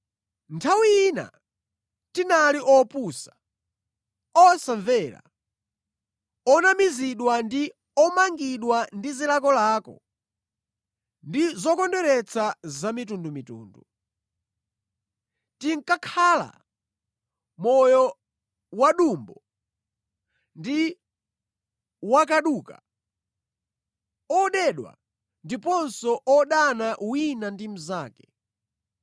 Nthawi ina tinali opusa, osamvera, onamizidwa ndi omangidwa ndi zilakolako ndi zokondweretsa zamitundumitundu. Tinkakhala moyo wadumbo ndi wakaduka, odedwa ndiponso odana wina ndi mnzake.